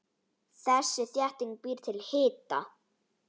Þessi þétting býr til hita.